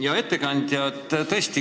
Hea ettekandja!